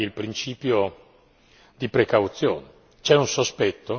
Nel frattempo, si applichi il principio di precauzione.